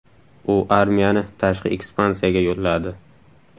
U armiyani tashqi ekspansiyaga yo‘lladi.